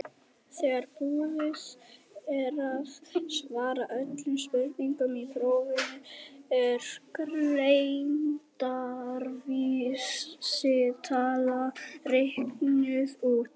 þegar búið er að svara öllum spurningum í prófinu er greindarvísitala reiknuð út